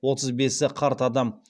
отыз бесі қарт адам